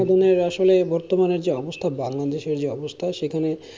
সেদিনের আসলে বর্তমানের যা অবস্থা বাংলাদেশের যা অবস্থা সেখানে